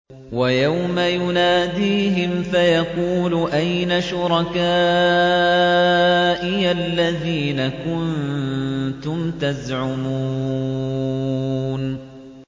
وَيَوْمَ يُنَادِيهِمْ فَيَقُولُ أَيْنَ شُرَكَائِيَ الَّذِينَ كُنتُمْ تَزْعُمُونَ